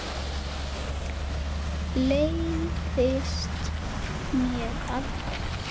Leiðist þér aldrei?